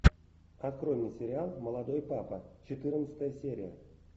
открой мне сериал молодой папа четырнадцатая серия